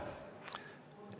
Miks mitte?